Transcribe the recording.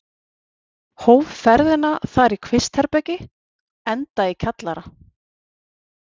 Hóf ferðina þar í kvistherbergi, enda í kjallara.